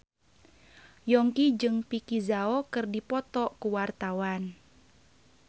Yongki jeung Vicki Zao keur dipoto ku wartawan